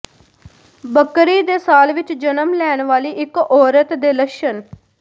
ਬੱਕਰੀ ਦੇ ਸਾਲ ਵਿੱਚ ਜਨਮ ਲੈਣ ਵਾਲੀ ਇੱਕ ਔਰਤ ਦੇ ਲੱਛਣ